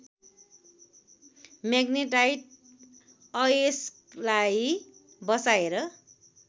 magnetite अयस्कलाई बसाएर